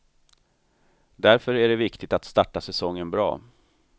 Därför är det viktigt att starta säsongen bra.